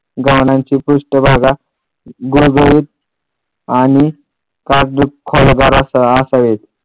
गव्हाणीची पृष्ठभागा गुळगुळीत आणि कागदी फलभार असावे.